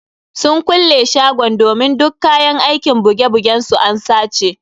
Sun kulle shagon domin duk kayan aikin buge bugen su an sace.